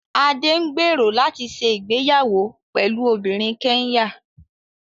Adé ń gbèrò láti ṣe ìgbéyàwó pẹ̀lú obìnrin Kẹ́nyà